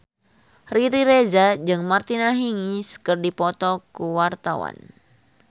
Riri Reza jeung Martina Hingis keur dipoto ku wartawan